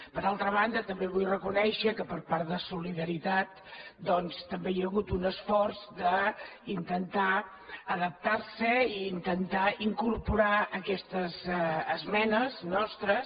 per altra banda també vull reconèixer que per part de solidaritat doncs també hi ha hagut un esforç d’intentar adaptar se i intentar incorporar aquestes esmenes nostres